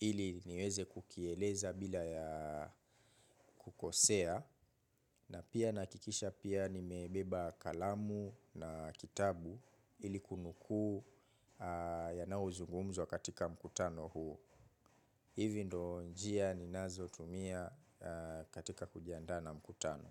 ili niweze kukieleza bila ya kukosea na pia nakikisha pia nimebeba kalamu na kitabu ili kunukuu ya nayo zungumzwa katika mkutano huu hivi ndionjia ninazo tumia katika kujiandaa na mkutano.